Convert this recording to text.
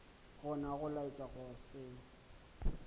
gona go laetša go se